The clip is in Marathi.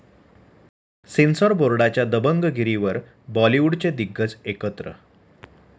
सेन्सॉर बोर्डाची दबंगगिरीवर बॉलिवूडचे दिग्गज एकत्र